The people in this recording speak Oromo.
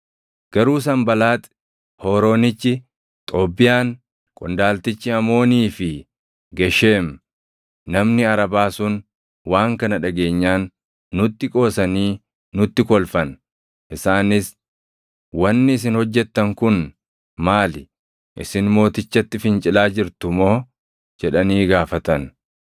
Garuu Sanbalaaxi Hooroonichi, Xoobbiyaan qondaaltichi Amoonii fi Gesheem namni Arabaa sun waan kana dhageenyaan nutti qoosanii nutti kolfan. Isaanis, “Wanni isin hojjettan kun maali? Isin mootichatti fincilaa jirtu moo?” jedhanii gaafatan.